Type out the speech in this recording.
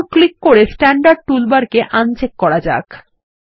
এখন ক্লিক করে standard toolbar কে আনচেক করা যাক